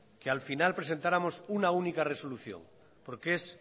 que al final presentáramos una única resolución porque es